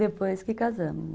Depois que casamos.